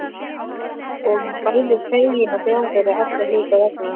Og er bæði feginn og glaður- allra hluta vegna.